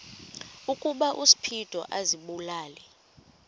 ukuba uspido azibulale